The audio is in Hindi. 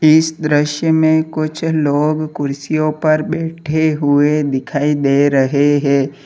इस दृश्य में कुछ लोग कुर्सियों पर बैठे हुए दिखाई दे रहे हैं।